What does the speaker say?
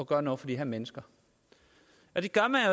gøre noget for de her mennesker og det gør man